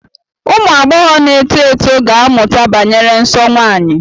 Ụmụ agbọghọ na-eto eto ga-amụta banyere nsọ nwanyị.